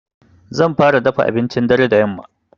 Zan fara dafa abincin dare da yamma.